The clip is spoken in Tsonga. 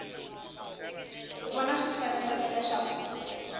u vona swi fanerile leswaku